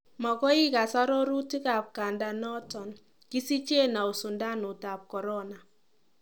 Mogoi igas arorutik ab kandanoton, kisichen au sindnut ab corona.